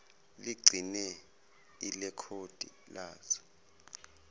ligcine ilekhodi lazo